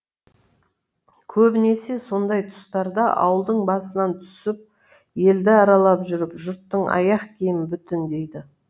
көбінесе сондай тұстарда ауылдың басынан түсіп елді аралап жүріп жұрттың аяқ киімін бүтіндейді